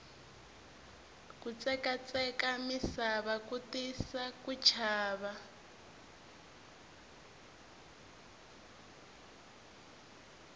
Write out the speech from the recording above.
kutsekatsekaka misava ku tisa ku chava